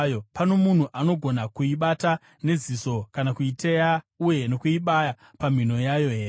Pano munhu angagona kuibata neziso, kana kuiteya uye nokuibaya pamhino yayo here?